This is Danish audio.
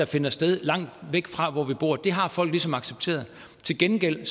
finder sted langt væk fra hvor vi bor det har folk ligesom accepteret til gengæld